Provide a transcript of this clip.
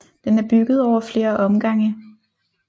Den er bygget over flere omgange